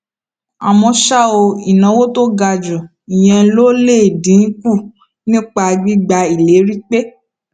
àmó ṣá o ìnáwó tó ga ju ìyẹn lọ lè dín kù nípa gbígba ìlérí pé